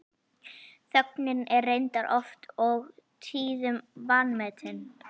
Þögnin er reyndar oft og tíðum vanmetin.